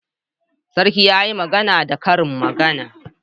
Sarki yayi magana da karin magana